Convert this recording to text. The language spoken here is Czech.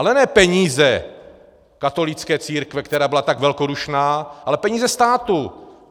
Ale ne peníze katolické církve, která byla tak velkodušná, ale peníze státu.